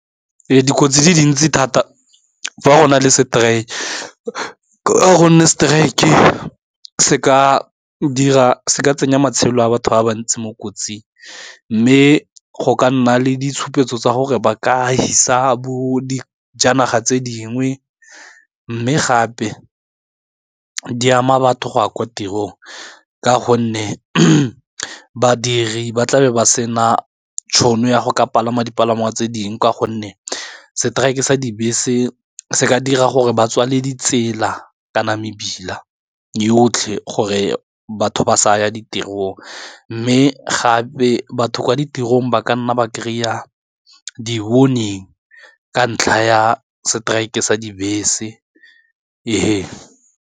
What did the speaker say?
Dikotsi di dintsi thata fa gona le strike-e se tsenya matshelo a batho ba ba ntsi mo kotsing, mme go ka nna le ditshupetso tsa gore ba ka fisa bo di janaga tse dingwe mme gape di ama batho go a kwa tirong ka gonne badiri ba tlabe ba sena tšhono ya go ka palama dipalangwa tse dingwe ka gonne seteraeke sa dibese se ka dira gore ba tswale di tsela kana mebila yotlhe gore batho ba sa ye ditirong, mme gape batho kwa ditirong ba ka nna ba kry-a di-warnning ka ntlha ya strike-e sa dibese ee.